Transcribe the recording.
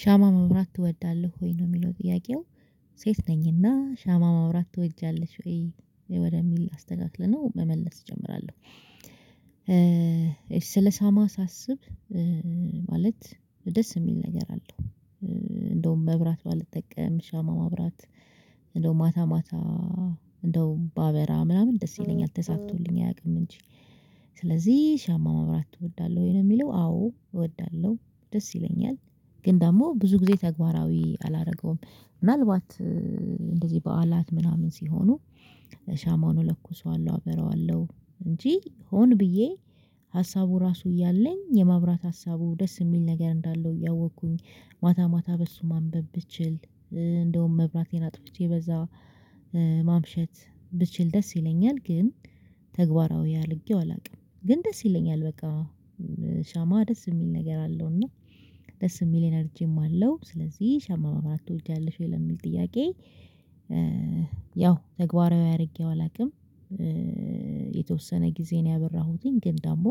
ሻማ መብራት ትወዳለህ ወይ ነው የሚለው ጥያቄው? ሴት ነኝ እና ሻማ ማብራት ትወጃለሽ ወይ ወደሚል አስተካክለነው መመለስ እጀምራለሁ። እሺ ስለሻማ ሳስብ ማለት ደስ የሚል ነገር አለው። እንደውም መብራት ባልጠቀም ሻማ ማብራት እንደው ማታ ማታ እንደው ባበራ ምናምን ደስ ይለኛል ተሳክቶልኝ አያውቅም እንጂ። ስለዚህ ሻማ መብራት ትወዳለህ ወይ ነው የሚለው? አዎ እወዳለሁ ደስ ይለኛል። ግን ደግሞ ብዙ ጊዜ ተግባራዊ አላደረገውም ምናልባት እንደዚህ በዓላት ምናምን ሲሆኑ ሻማውን እለኩሰዋለሁ አበረዋለሁ። እንጂ ሆን ብዬ ሀሳቡ ራሱ እያለኝ የማብራት ሀሳቡ ደስ የሚል ነገር እንዳለው እያወቅኩኝ ማታ ማታ በሱ ማንበብ ብችል። እንደውም መብራቴን አጥፍቼ በዛ ማምሸት ብችል ደስ ይለኛል። ግን ተግባራዊ አልጌው አላውቅም ግን ደስ ይለኛል በቃ። ሻማ ደስ የሚል ነገር አለው እና ደስ የሚል ኢነርጂም አለው። ስለዚህ ሻማ ማብራት ትወጃለሽ ወይ ለሚል ጥያቄ? ያው ተግባራዊ አድርጌው አላውቅም። የተወሰነ ጊዜ ነው ያበራሁትኝ ግን ደግሞ